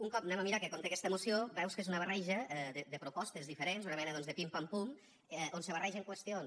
un cop anem a mirar què conté aquesta moció veus que és una barreja de propostes diferents una mena doncs de pim pam pum on se barregen qüestions